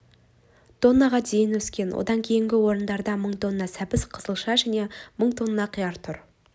тоннаға дейін өскен одан кейінгі орындарда мың тонна сәбіз қызылша және мың тонна қияр тұр